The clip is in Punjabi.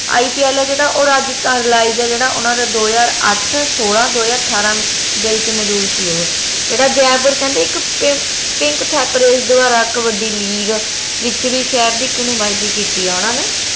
IPL ਆ ਜੇਹੜਾ ਓ ਰਾਜਸਥਾਨ ਦਾ ਜੇਹੜਾ ਓਨਾ ਦੋ ਹਜਾਰ ਆਠ ਸੋਲਾਂ ਦੋ ਹਜਾਰ ਅਠਾਰਾਂ ਦੇ ਵਿਚ ਮਜੂਦ ਸੀ ਓਹੋ ਜੇਹੜਾ ਜੈਪੁਰ ਕਹਿੰਦੇ ਇਕ pink pink ਦਵਾਰਾ ਇਕ ਵੱਡੀ league ਚ ਵੀ ਸ਼ਹਿਰ ਦੀ ਇਕ ਨੁਮਾਦੀ ਕੀਤੀ ਆ ਓਹਨਾ ਨੇ